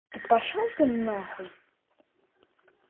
пошёл ты на хуй